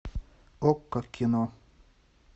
окко кино